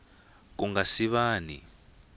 ku nga si va ni